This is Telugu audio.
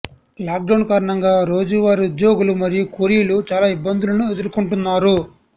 లాక్డౌన్ కారణంగా రోజువారీ ఉద్యోగులు మరియు కూలీలు చాలా ఇబ్బందులను ఎదుర్కొంటున్నారు